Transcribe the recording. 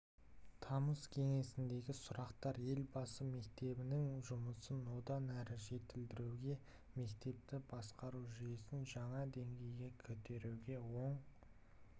тамыз кеңесіндегі сұрақтар елбасы мектептерінің жұмысын одан әрі жетілдіруге мектепті басқару жүйесін жаңа деңгейге көтеруге оң